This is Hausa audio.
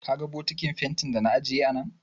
Ka ga bokitin fentin da na ajiye a nan?